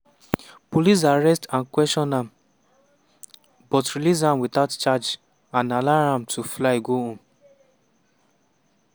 police arrest and question am but release am witout charge and allow am to fly go home.